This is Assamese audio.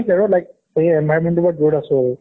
like environment টোৰ পৰা দূৰত আছো আৰু